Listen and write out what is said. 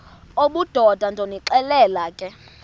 obudoda ndonixelela ke